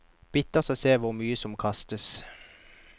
Bittert å se hvor mye som kastes.